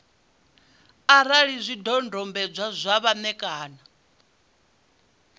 arali zwidodombedzwa zwe vha ṋekana